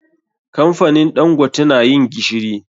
Kamfanin ɗangote na yin gishiri.